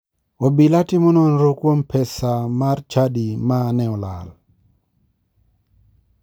Obila timo nonro kuom pea mar chadi ma ne olal